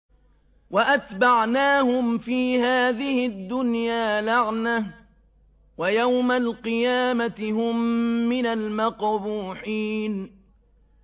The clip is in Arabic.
وَأَتْبَعْنَاهُمْ فِي هَٰذِهِ الدُّنْيَا لَعْنَةً ۖ وَيَوْمَ الْقِيَامَةِ هُم مِّنَ الْمَقْبُوحِينَ